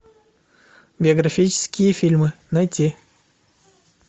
биографические фильмы найти